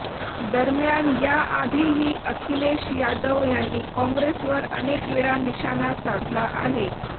दरम्यान याआधीही अखिलेश यादव यांनी काँग्रेसवर अनेकवेळा निशाना साधला आहे